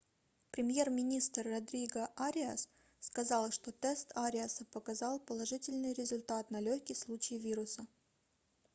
премьер-министр родриго ариас сказал что тест ариаса показал положительный результат на лёгкий случай вируса